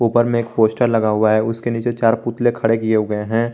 ऊपर में एक पोस्टर लगा हुआ है उसके नीचे चार पुतले खड़े किए हुए हैं।